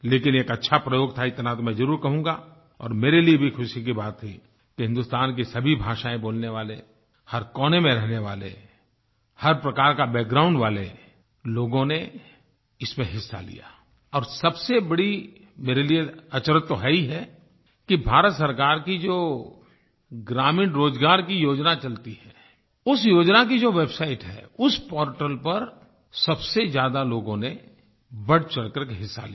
लेकिन एक अच्छा प्रयोग था इतना तो मैं जरूर कहूँगा और मेरे लिए भी खुशी की बात थी कि हिंदुस्तान की सभी भाषाएँ बोलने वाले हर कोने में रहने वाले हर प्रकार के बैकग्राउंड वाले लोगों ने इसमें हिस्सा लिया और सबसे बड़ी मेरे लिए अचरज़ तो है ही है कि भारत सरकार की जो ग्रामीण रोजगार की योजना चलती है उस योजना की जो वेबसाइट है उस पोर्टल पर सब से ज्यादा लोगों ने बढ़चढ़ कर के हिस्सा लिया